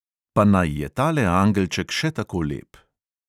Pa naj je tale angelček še tako lep.